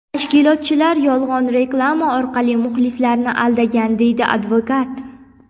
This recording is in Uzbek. Tashkilotchilar yolg‘on reklama orqali muxlislarni aldagan”, deydi advokat.